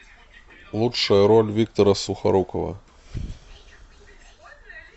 лучшая роль виктора сухорукова